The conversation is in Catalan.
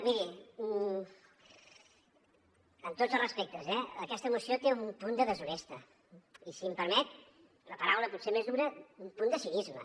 miri amb tots els respectes eh aquesta moció té un punt de deshonesta i si em permet la paraula potser més dura un punt de cinisme